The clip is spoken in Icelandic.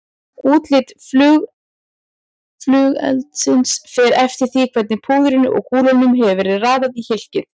Útlit flugeldsins fer eftir því hvernig púðrinu og kúlunum hefur verið raðað í hylkið.